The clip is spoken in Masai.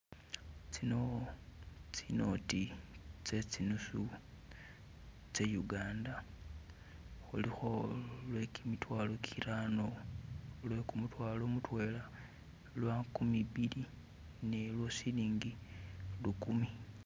Tsino tsi noti tsezi nusu tse Uganda kulikho lwekimitwalo kirano, lwekumutwalo kutena, lwankumi bili ni lwo siligi lukumi